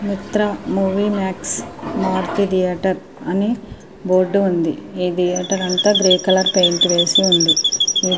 మిత్ర movie max Maruthi theatre అని board ఉంది. ఈ థియేటర్ అంతా గ్రే కలర్ పెయింట్ వేసి ఉంది. ఈ --